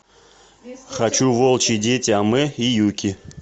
хочу волчьи дети амэ и юки